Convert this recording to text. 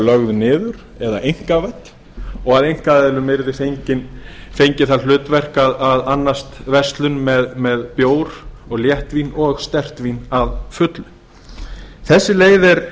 lögð niður eða einkavædd og að einkaaðilum yrði fengið það hlutverk að annast verslun með bjór létt vín og sterkt vín að fullu þessi leið er